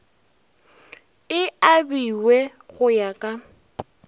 e abiwe go ya ka